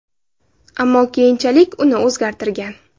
Ammo keyinchalik uni o‘zgartirgan.